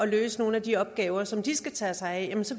løse nogle af de opgaver som de skal tage sig af så